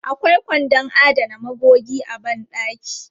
Akwai kwandon adana magogi a ban ɗaki.